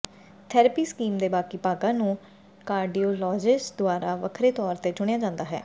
therapy scheme ਦੇ ਬਾਕੀ ਭਾਗਾਂ ਨੂੰ ਕਾਰਡੀਓਲਾਜਿਸਟ ਦੁਆਰਾ ਵੱਖਰੇ ਤੌਰ ਤੇ ਚੁਣਿਆ ਜਾਂਦਾ ਹੈ